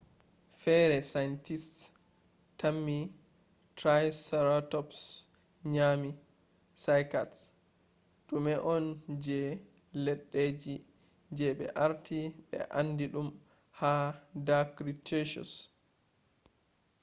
fere scientists tammi triceratops nyami cycads dume on je leddeji je be arti be andi dum ha dar cretaceous